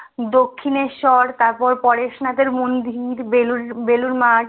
দক্ষিনেশ্বর তারপর পরেশনাথের মন্দির বেলুড় বেলুড় মাঠ